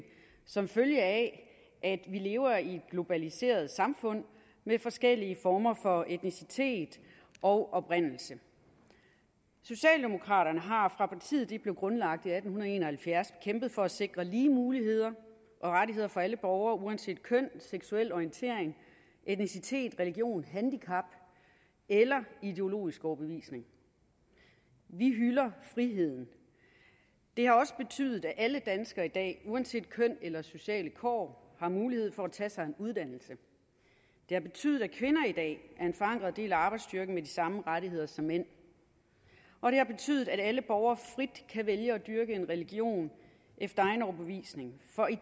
som følge af at vi lever i et globaliseret samfund med forskellige former for etnicitet og oprindelse socialdemokraterne har fra partiet blev grundlagt i atten en og halvfjerds kæmpet for at sikre lige muligheder og rettigheder for alle borgere uanset køn seksuel orientering etnicitet religion handicap eller ideologisk overbevisning vi hylder friheden det har også betydet at alle danskere i dag uanset køn eller sociale kår har mulighed for at tage sig en uddannelse det har betydet at kvinder i dag er en forankret del af arbejdsstyrken med de samme rettigheder som mænd og det har betydet at alle borgere frit kan vælge at dyrke en religion efter egen overbevisning for i